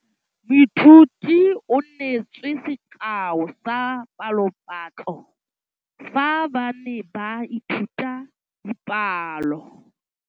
Moithuti o neetse sekaô sa palophatlo fa ba ne ba ithuta dipalo.